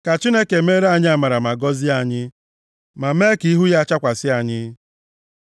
Ka Chineke meere anyị amara ma gọzie anyị, ma mee ka ihu ya chakwasị anyị, + 67:1 \+xt Ọnụ 6:25\+xt* Sela